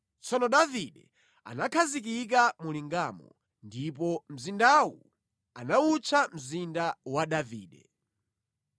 Tsono Davide anakhazikika mu lingamo, ndipo mzindawu anawutcha Mzinda wa Davide.